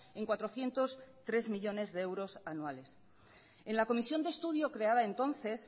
en cuatrocientos tres millónes de euros anuales en la comisión de estudio creada entonces